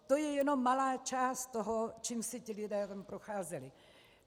To je jednom malá část toho, čím si ti lidé tam procházeli.